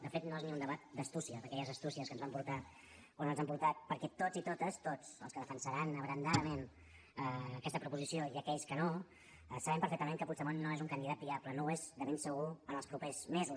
de fet no és ni un debat d’astúcia d’aquelles astúcies que ens van portar on ens han portat perquè tots i totes tots els que defensaran abrandadament aquesta proposició i aquells que no sabem perfectament que puigdemont no és un candidat viable no ho és de ben segur en els propers mesos